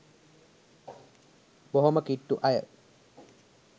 බොහෝම කිට්ටු අය.